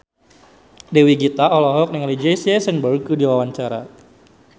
Dewi Gita olohok ningali Jesse Eisenberg keur diwawancara